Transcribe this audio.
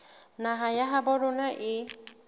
naha ya habo rona e